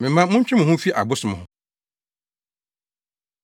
Me mma, montwe mo ho mfi abosom ho.